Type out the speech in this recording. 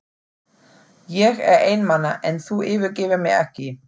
Ég er einmana en þú yfirgefur mig ekki.